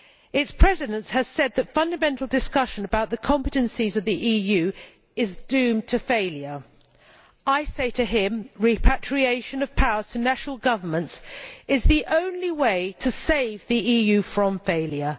Its President has said the fundamental discussion about the competences of the EU is doomed to failure. I say to him repatriation of powers to national governments is the only way to save the EU from failure.